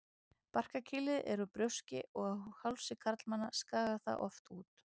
Barkakýlið er úr brjóski og á hálsi karlmanna skagar það oft út.